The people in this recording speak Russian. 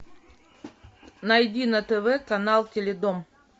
найди на тв канал теледом